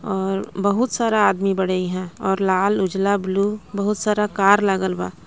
अ बहुत सारा आदमी बाड़े ईहा अउर लाल उजला ब्लू बहुत सारा कार लागल बा.